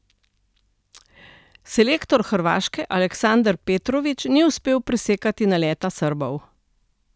Selektor Hrvaške Aleksandar Petrović ni uspel presekati naleta Srbov.